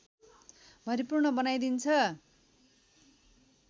भरिपूर्ण बनाइदिन्छ